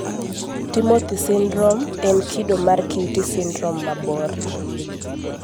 Timothy sindrom en kido mar QT sindrom mabor